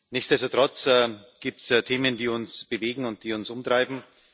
Nichtsdestotrotz gibt es Themen, die uns bewegen und die uns umtreiben.